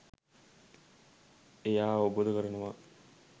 එයා අවබෝධ කරනවා